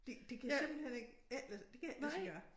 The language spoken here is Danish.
Det det kan simpelthen ikke ikke lade det kan ikke lade sig gøre